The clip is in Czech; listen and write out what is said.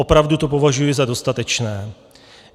Opravdu to považuji za dostatečné.